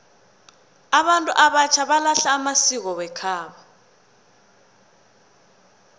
abantu abatjha balahla amasiko wekhabo